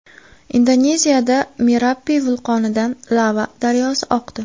Indoneziyada Merapi vulqonidan lava daryosi oqdi .